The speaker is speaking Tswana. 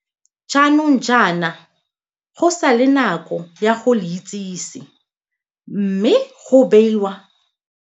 Jaanong jaana go sa le nako ya go le itsese mme go neiwa baithuti ba ba ka nnang 96 dijo ka beke.